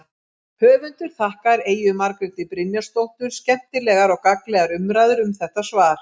Höfundur þakkar Eyju Margréti Brynjarsdóttur skemmtilegar og gagnlegar umræður um þetta svar.